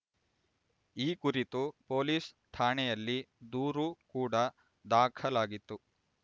ಈ ಕುರಿತು ಪೊಲೀಸ್ ಠಾಣೆಯಲ್ಲಿ ದೂರು ಕೂಡ ದಾಖಲಾಗಿತ್ತು